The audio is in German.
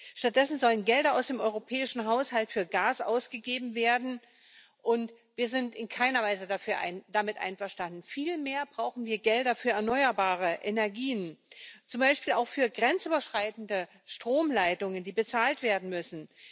Stattdessen sollen Gelder aus dem europäischen Haushalt für Gas ausgegeben werden, und wir sind in keiner Weise damit einverstanden. Vielmehr brauchen wir Gelder für erneuerbare Energien, zum Beispiel auch für grenzüberschreitende Stromleitungen, die bezahlt werden müssen.